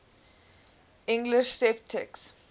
english sceptics